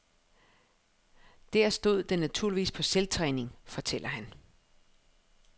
Der stod den naturligvis på selvtræning, fortæller han.